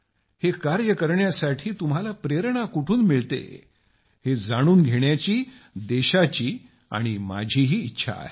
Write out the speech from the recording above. हे कार्य करण्यासाठी तुम्हाला प्रेरणा कुठून मिळते याची जाणून घेण्याची देशाची आणि माझीही इच्छा आहे